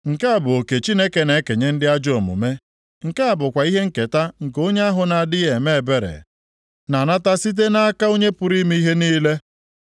“Nke a bụ oke Chineke na-ekenye ndị ajọ omume, nke a bụkwa ihe nketa nke onye ahụ na-adịghị eme ebere na-anata site nʼaka Onye pụrụ ime ihe niile.